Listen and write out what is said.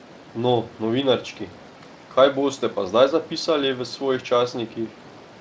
No, novinarčki, kaj boste pa zdaj zapisali v svojih časnikih?